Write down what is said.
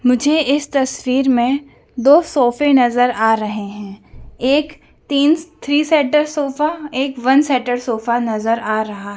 मुझे इस तस्वीर में दो सोफे नजर आ रहे हैं एक तीन थ्री सीटर सोफा एक वन सीटर सोफा नजर आ रहा--